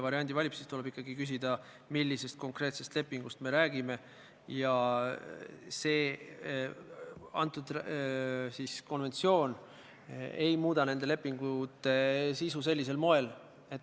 Praegu on probleem selles, et meil ei ole mingit kindlust, et kui me ka saame ministeeriumilt kooskõlastuse, tagasiside, et siis ministeerium on tegelikult sihtgrupiga suhelnud.